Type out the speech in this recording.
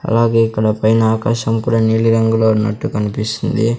అలాగే ఇక్కడ పైన ఆకాశం కూడా నీలిరంగులో ఉన్నట్టు కనిపిస్తుంది.